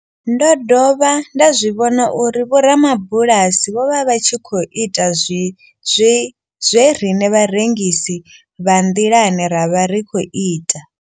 Ndo dovha nda zwi vhona uri vhoramabulasi vho vha vha tshi khou ita zwe riṋe vharengisi vha nḓilani ra vha ri tshi khou ita.